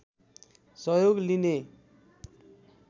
सहयोग लिने